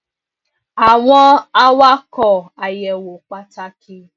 àwọn awakọ àyẹwò pàtàkì